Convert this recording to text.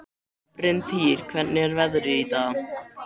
Bryntýr, hvernig er veðrið í dag?